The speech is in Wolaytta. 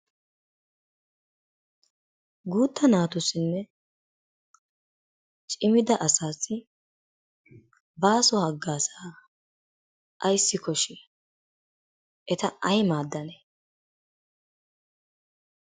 Guutta naatussinne cimida asaassi baaso haggaazzaa ayissi koshshii? Eta ay maaddanee?